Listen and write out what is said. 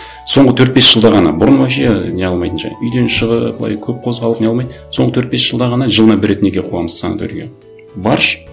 соңғы төрт бес жылда ғана бұрын вообще не қылмайтын ше үйден шығып былай көп қозғалып не қылмайтын соңғы төрт бес жылда ғана жылына бір рет неге қуамыз санаторийге баршы